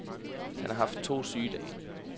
Han har haft to sygedage.